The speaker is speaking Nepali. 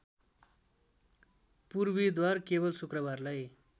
पूर्वीद्वार केवल शुक्रबारलाई